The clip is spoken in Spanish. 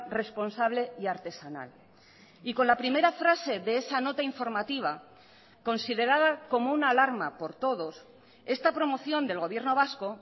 responsable y artesanal y con la primera frase de esa nota informativa considerada como una alarma por todos esta promoción del gobierno vasco